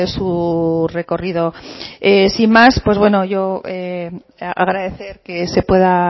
su recorrido sin más pues bueno yo agradecer que se pueda